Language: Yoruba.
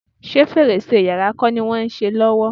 Ṣé fèrèsé yàrá kọ́ ni wọ́n ń ṣe lọ́wọ́?